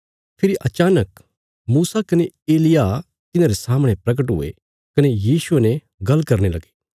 फेरी अचानक मूसा कने एलिय्याह तिन्हारे सामणे परगट हुये कने यीशुये ने गल्ल करने लगे